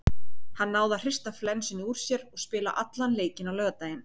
Hann náði að hrista flensunni úr sér og spila allan leikinn á laugardaginn.